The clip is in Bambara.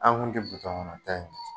An tun tɛ kɔnɔta in